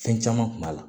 Fɛn caman kun b'a la